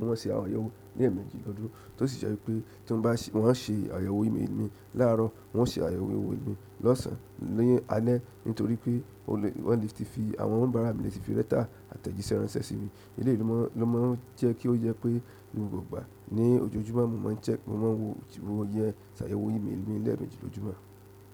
ma ṣe àyẹ̀wò ní ẹ̀ẹ̀mejì lọ́dún, tó sì jẹ́ wípé tí wọ́n bá ṣe àyẹ̀wò ímélì mi láàárọ̀, wọ́n ó ṣe àyẹ̀wò ímélì mi lọ́sàn, ni álé, nítorí pé wọ́n le ti fi àwọn, àwọn onibara mi le ti fi lẹ́tà àtẹ̀jíṣẹ́ ránṣẹ́ sí mi. Eléyìí ló máa ń jẹ́ kí ó yẹ pé ni gbọ́gbà ní ojoojúmọ́, mo máa ń check, mo máa ń wo yẹn ṣàyẹ̀wò ímélì mi lẹ́ẹ̀meji lójúmọ́.